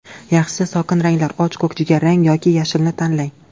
Yaxshisi sokin ranglar och ko‘k, jigarrang yoki yashilni tanlang.